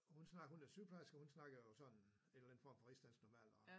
Hun snak hun er sygeplejerske og snakker jo sådan en eller anden form for rigsdansk normalt og